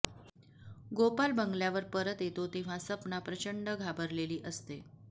गोपाल बंगल्यावर परत येतो तेव्हा सपना प्रचंड घाबरलेली असते